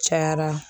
Cayara